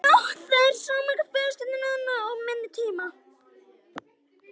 Það er stærri fjölskylda núna og minni tími.